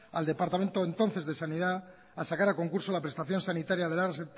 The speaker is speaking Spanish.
al departamento entonces de sanidad a sacar a concurso la prestación sanitaria de la